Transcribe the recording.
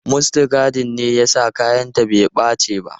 Mustagadin ne ya sa kayanta bai ɓace ba.